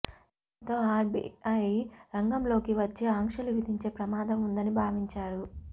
దీంతో ఆర్బిఐ రంగంలోకి వచ్చి ఆంక్షలు విధించే ప్రమాదం ఉందని భావించారు